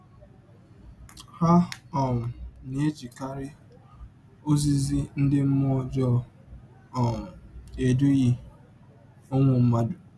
Ha um na - ejikarị “ ozizi ndị mmụọ ọjọọ ” um edụhịe ụmụ mmadụ.